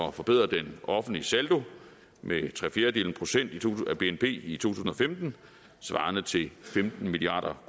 at forbedre den offentlige saldo med tre fjerdedele procent af bnp i to tusind og femten svarende til femten milliard